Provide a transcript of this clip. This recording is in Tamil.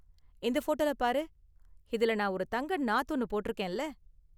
இந்த போட்டோல பாரு, இதுல நான் ஒரு தங்க நாத் ஒன்னு போட்டிருக்கேன்ல